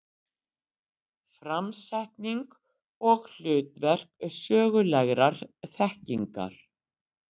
Framsetning og hlutverk sögulegrar þekkingar.